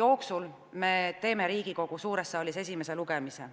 jooksul me teeme Riigikogu suures saalis esimese lugemise.